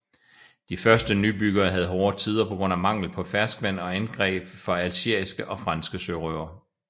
De første nybyggere havde hårde tider på grund af mangel på ferskvand og angreb fra algeriske og franske sørøvere